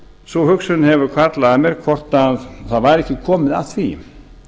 sú hugsun hefur hvarflað að mér hvort það væri ekki komið að því